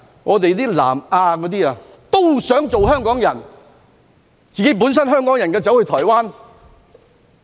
有南亞人想做香港人，但香港人卻想前往台灣。